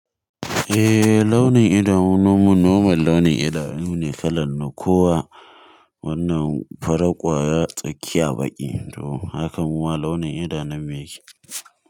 Eh launin idanu na man launin idanu ne kalan na ko wa wannan fara ƙwaya tsakiya baƙi, to hakan mu ma launin idanun mu yake.